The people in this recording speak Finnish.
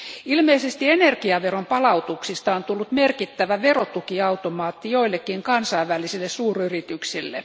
Ilmeisesti energiaveronpalautuksista on tullut merkittävä verotukiautomaatti joillekin kansainvälisille suuryrityksille.